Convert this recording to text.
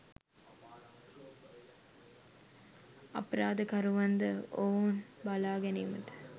අපරාධකරුවන් ද ඔවුන් බලා ගැනීමට